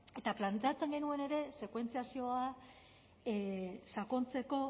eta planteatzen genuen ere sekuentziazioa sakontzeko